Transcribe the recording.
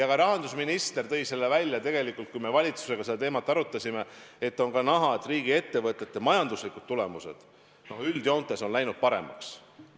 Ka rahandusminister tõi selle välja, kui me valitsusega seda teemat arutasime, et on näha, et riigiettevõtete majanduslikud tulemused üldjoontes on läinud paremaks.